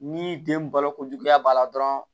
Ni den balokojuguya b'a la dɔrɔn